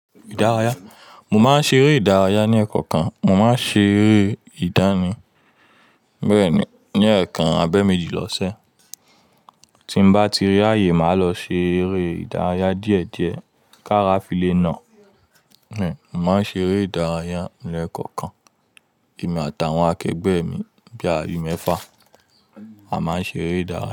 Ìdárayá, mo máa ń ṣeré ìdárayá ní ẹ̀ẹ̀kokan. Mo máa ń ṣeré ìdánì, bẹ́ẹ̀ ni, ní ẹ̀ẹ̀kan abẹ́méjì lọ́sẹ̀. Tí n bá tirí ayé, màá lọ ṣe eré ìdárayá díẹ̀díẹ̀ ká ra file náà. Uhn, mo máa ń ṣeré ìdárayá ní ẹ̀kokan kan, èmi àtàwọn akẹgbẹ́ mi bíi ayé mẹ́fà. A máa ń ṣeré ìdárayá.